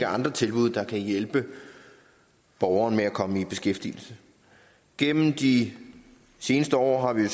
andre tilbud der kan hjælpe borgeren med at komme i beskæftigelse gennem de seneste år har vi